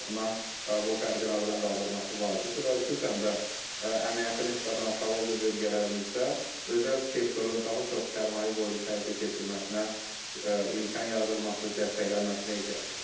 O baxımdan bu fərqin aradan qaldırılması vacibdir və xüsusən də əmək haqqı nisbətən aşağı olduq bölgələrimizdə özəl sektorun daha çox sərmayə qoyuluşu həyata keçirməsinə imkan yaradılması, dəstəklənməsinə ehtiyac var.